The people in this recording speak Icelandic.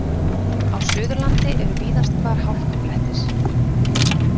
Á Suðurlandi eru víðast hvar hálkublettir